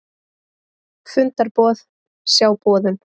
Fundarboð, sjá boðun